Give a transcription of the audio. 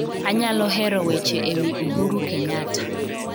Anyalo hero weche ewi Uhuru Kenyatta